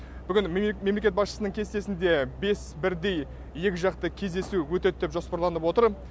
бүгін мемлекет басшысының кестесінде бес бірдей екіжақты кездесу өтеді деп жоспарланып отыр